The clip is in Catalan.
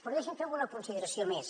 però deixi’m fer alguna consideració més